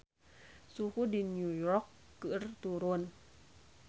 Suhu di New York keur turun